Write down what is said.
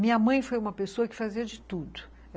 Minha mãe foi uma pessoa que fazia de tudo.